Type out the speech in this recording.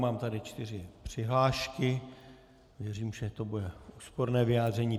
Mám tady čtyři přihlášky, věřím, že to bude úsporné vyjádření.